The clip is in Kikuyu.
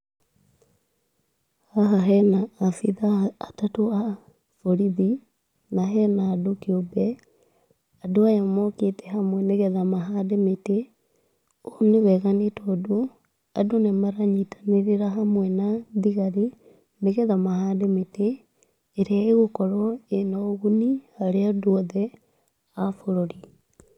Haha hena abithaa atatũ a borithi, na hena andũ kĩũmbe. Andũ aya mokĩte hamwe nĩ getha mahande mĩtĩ. Ũũ nĩ wega nĩ tondũ andũ nĩ maranyitanĩrĩra hamwe na thigari nĩ getha mahande mĩtĩ ĩrĩa ĩgũkorwo ĩna ũguni harĩ andũ othe a bũrũri.